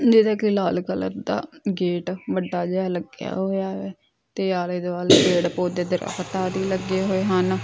ਲਾਲ colour ਦਾ gate ਵੱਡਾ ਜਿਹਾ ਲੱਗਿਆ ਹੋਇਆ ਵੈ ਤੇ ਆਲੇ ਦੁਆਲੇ ਪੇੜ ਪੋਧੇ ਤੇ ਆਦਿ ਲੱਗੇ ਹੋਏ ਹਨ।